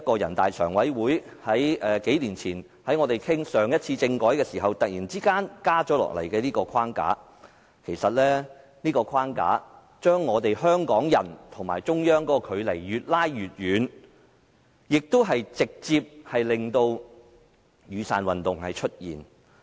我們數年前討論政改的時候，人大常委會突然加插這個框架，把香港人與中央的距離越拉越遠，亦直接令到"雨傘運動"出現。